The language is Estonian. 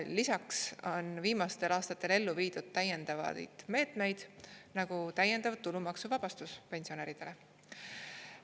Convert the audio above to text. Lisaks on viimastel aastatel ellu viidud täiendavaid meetmeid, nagu täiendav tulumaksuvabastus pensionäridele.